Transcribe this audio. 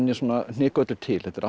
hnika öllu til þetta er allt